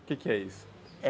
O que que é isso?